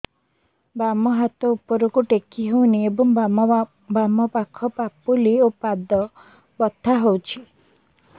ବାମ ହାତ ଉପରକୁ ଟେକି ହଉନି ଏବଂ ବାମ ପାଖ ପାପୁଲି ଓ ପାଦ ବଥା ହଉଚି